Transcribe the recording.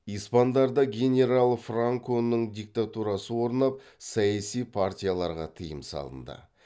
испандарда генерал франконың диктатурасы орнап саяси партияларға тыйым салынды